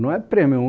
Não é prêmio.